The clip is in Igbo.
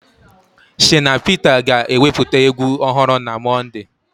Shina Peter ga-ewepụta egwu ọhụrụ na Mọnde.